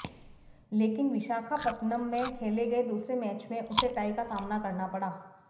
लेकिन विशाखापत्तनम में खेले गए दूसरे मैच में उसे टाई का सामना करना पड़ा